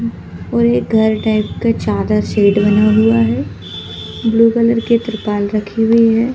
और ये घर टाइप का चादर शेड बना हुआ है ब्लू कलर के त्रिपाल रखे हुए हैं।